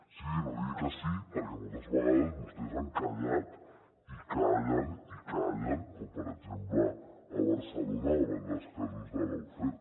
sí sí no digui que sí perquè moltes vegades vostès han callat i callen i callen com per exemple a barcelona davant dels casos de lawfare